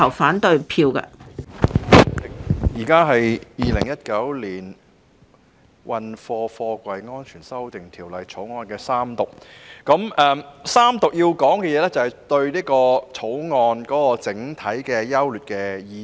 主席，現時是《2019年運貨貨櫃條例草案》的三讀階段，我要說的是對《條例草案》整體優劣的意見。